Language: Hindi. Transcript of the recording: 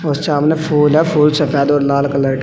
व सामने फूल है फूल सफेद और लाल कलर --